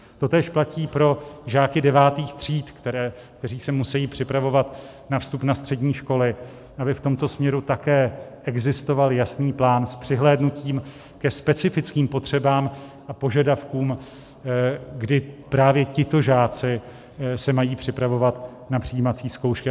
Totéž platí pro žáky devátých tříd, kteří se musejí připravovat na vstup na střední školy, aby v tomto směru také existoval jasný plán s přihlédnutím ke specifickým potřebám a požadavkům, kdy právě tito žáci se mají připravovat na přijímací zkoušky.